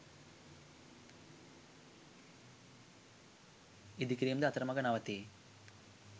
ඉඳිකිරීම් ද අතර මග නවතී